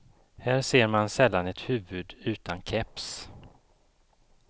Här ser man sällan ett huvud utan keps.